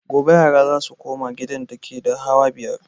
Gobe yara za su koma gidan dake da hawa biyar